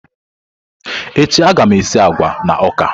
Echi a ga m esi agwa na ọka.